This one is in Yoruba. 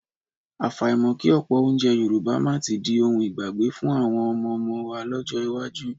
Àfàìmọ̀ kí ọ̀pọ̀ oúnjẹ Yorùbá máa tí di ohun ìgbàgbé fún àwọn ọmọọmọ wa lọ́jọ́ iwájú